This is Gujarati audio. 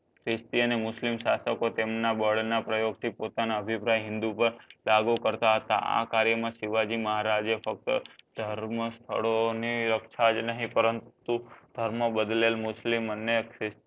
ખ્રિસ્ત અને મુસ્લિમ સાસકો તેમના બડ ના પ્રયોગ થી પોતાના અભિપ્રાય હિનદૂ પર દાગો કરતાં હતા આ કાર્યા માં સીવજીમહારાજ આ ફક્ત ધર્મ સ્તથડો ની રક્ષા નહીં પરંતુ ધર્મ બદલેલ મસ્લિમ અને ખ્રિસ્ત